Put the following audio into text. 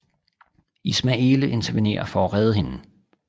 Ismaele intervenerer for at redde hende